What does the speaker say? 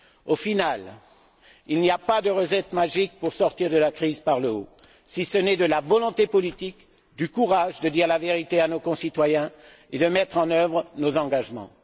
Au final, il n'y a pas de recette magique pour sortir de la crise par le haut, si ce n'est manifester de la volonté politique, avoir le courage de dire la vérité à nos concitoyens et mettre en œuvre nos engagements.